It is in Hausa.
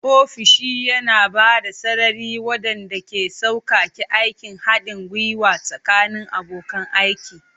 Ofishi yana ba da sarari waɗanda ke sauƙaƙe aikin haɗin gwiwa tsakanin abokan aiki.